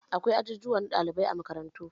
Akwai ajujuwan na ɗalibai a makarantu